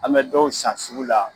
An mɛ dɔw san sugu la.